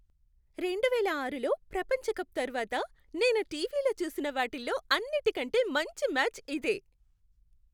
రెండువేల ఆరులో ప్రపంచ కప్ తర్వాత నేను టీవీలో చూసిన వాటిల్లో అన్నిటికంటే మంచి మ్యాచ్ ఇదే.